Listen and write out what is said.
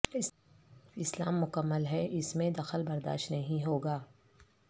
اسلام مکمل ہے اس میں دخل برداشت نہیں ہوگا